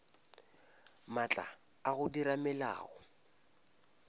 maatla a go dira melao